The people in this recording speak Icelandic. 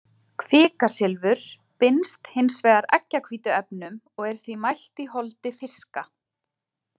Kvikasilfur binst hins vegar eggjahvítuefnum og er því mælt í holdi fiska.